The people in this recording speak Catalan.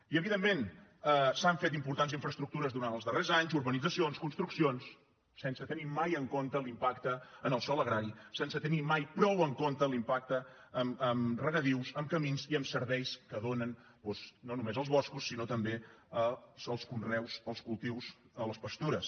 i evidentment s’han fet importants infraestructures durant els darrers anys urbanitzacions construccions sense tenir mai en compte l’impacte en el sòl agrari sense tenir mai prou en compte l’impacte en regadius en camins i en serveis que donen doncs no només als boscos sinó també als conreus als cultius a les pastures